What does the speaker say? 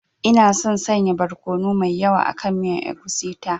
Ina son sanya barkono mai yawa akan miyan egusi ta.